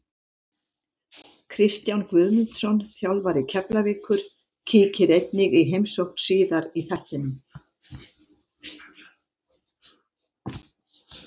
Kristján Guðmundsson, þjálfari Keflavíkur, kíkir einnig í heimsókn síðar í þættinum.